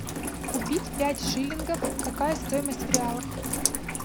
купить пять шиллингов какая стоимость в реалах